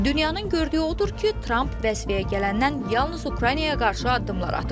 Dünyanın gördüyü odur ki, Tramp vəzifəyə gələndən yalnız Ukraynaya qarşı addımlar atıb.